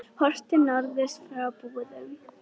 Horft til norðurs frá Búðum.